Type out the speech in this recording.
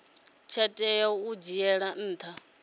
tsha tea u dzhielwa nha